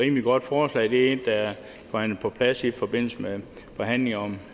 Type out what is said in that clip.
rimeligt godt forslag det er forhandlet på plads i forbindelse med forhandlingerne om